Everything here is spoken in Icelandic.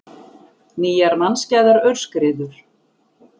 Nýjar mannskæðar aurskriður